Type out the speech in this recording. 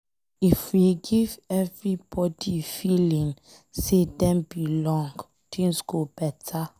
If we give everybody feeling say Dem belong, things go beta.